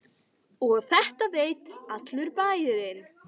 Og þetta veit allur bærinn?